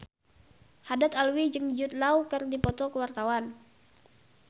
Haddad Alwi jeung Jude Law keur dipoto ku wartawan